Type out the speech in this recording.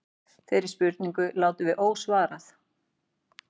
Þeirri spurningu látum við ósvarað.